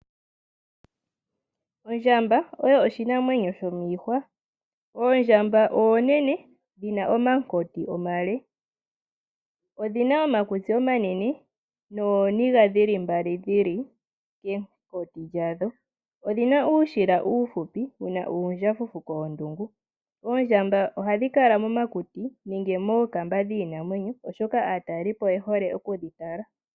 Ondjamba oyo oshinamwenyo shomiihwa. Oondjamba oonene dhina omankoti omale, odhina woo omakutsi omanene nooniga mbali dhili kenkoti dhalyo , odhina uushila uuhupi wuna uundjafufu koondungu. Oondjamba ohadhi kala momakuti nenge mookamba dhiinamwenyo oshoka aataleli oye hole okudhi tala.